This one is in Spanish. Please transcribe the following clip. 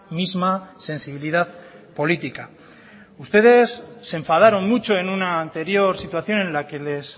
misma sensibilidad política ustedes se enfadaron mucho en una anterior situación en la que les